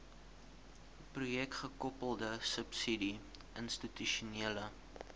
projekgekoppelde subsidie institusionele